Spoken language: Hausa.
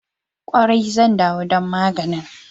Kwarai, zan ɗawo don maganin.